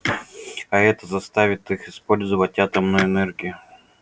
а это заставит их использовать атомную энергию